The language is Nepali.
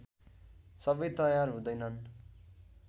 सबै तयार हुँदैनन्